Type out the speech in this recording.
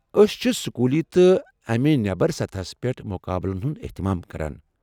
أسۍ چھِ سکوُلی تہٕ امہِ نیٚبر سطحس پیٹھ مُقابلن ہُند احتمام كران ۔